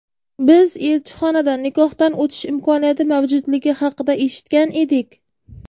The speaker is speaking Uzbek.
Biz elchixonada nikohdan o‘tish imkoniyati mavjudligi haqida eshitgan edik.